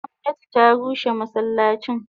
Gomnati ta rushe masallacin.